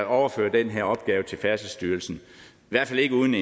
overføre den her opgave til færdselsstyrelsen i hvert fald ikke uden